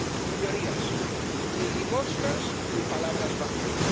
Señorías, ni limosnas ni palabras vacías.